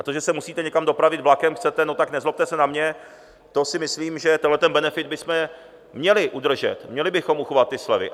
A to, že se musíte někam dopravit vlakem, chcete, no tak, nezlobte se na mě, to si myslím, že tenhle benefit bychom měli udržet, měli bychom uchovat ty slevy.